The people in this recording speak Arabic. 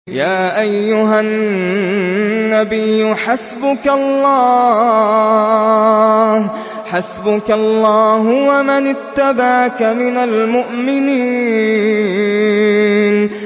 يَا أَيُّهَا النَّبِيُّ حَسْبُكَ اللَّهُ وَمَنِ اتَّبَعَكَ مِنَ الْمُؤْمِنِينَ